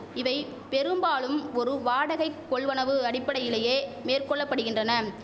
இவை பெரும்பாலும் ஒரு வாடகைக் கொள்வனவு அடிப்படையிலேயே மேற்கொள்ளபடுகின்றன